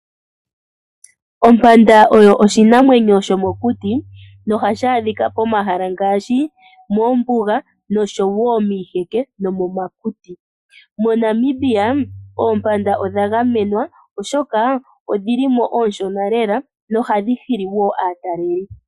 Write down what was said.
Ompanda oyo oshinamwenyo sho mokuti nohashi adhika po mahala ngaashi mombuga, miiheke no momakuti. MoNamibia oompanda odha gamenwa, oshoka odhi li mo oonshona lela nohadhi hili aatalelipo.